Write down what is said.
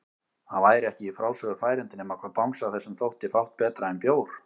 Það væri ekki í frásögur færandi nema hvað bangsa þessum þótti fátt betra en bjór!